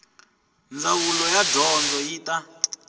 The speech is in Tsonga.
ndzawulo ya dyondzo yi ta